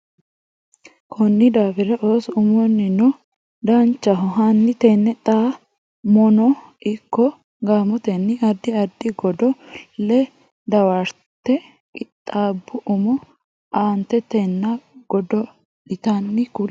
Konni daafira ooso umunnino Danchaho hanni tenne xa mono ikko gaamotenni addi addi godo le dawarate qixxaabbe umo aantetenna godo litanno Konni.